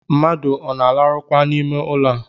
Mmadụ ọ na-alarụkwa n’ime ụlọ a?